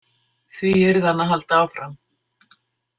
Því yrði hann að halda áfram.